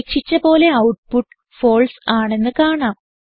പ്രതീക്ഷിച്ച പോലെ output false ആണെന്ന് കാണാം